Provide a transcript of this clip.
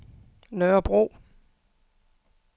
Nørrebro